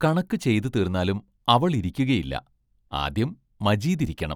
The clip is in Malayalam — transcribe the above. കണക്കു ചെയ്തുതീർന്നാലും അവൾ ഇരിക്കുകയില്ല, ആദ്യം മജീദ് ഇരിക്കണം!